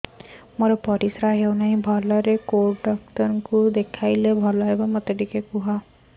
ମୋର ପରିଶ୍ରା ହଉନାହିଁ ଭଲରେ କୋଉ ଡକ୍ଟର କୁ ଦେଖେଇବି